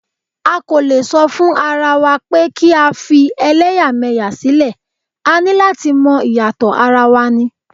A kò lè sọ fún arawa pé kí á fi ẹlẹ́yàmẹ̀yà sílẹ̀, a ní láti mọ ìyàtọ̀ ara wa ní.